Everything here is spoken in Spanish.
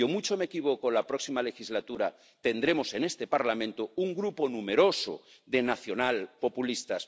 Y, o mucho me equivoco, o la próxima legislatura tendremos en este Parlamento un grupo numeroso de nacionalpopulistas.